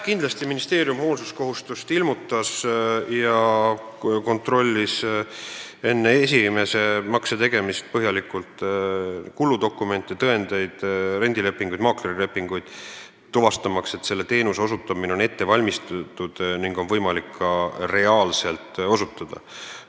Kindlasti ministeerium hoolsuskohustust ilmutas ja kontrollis enne esimese makse tegemist põhjalikult kuludokumente, tõendeid, rendilepinguid, maaklerilepinguid, tuvastamaks, et teenuse osutamine on ette valmistatud ning seda on võimalik ka reaalselt osutada.